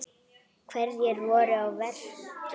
Hverjir voru að verki?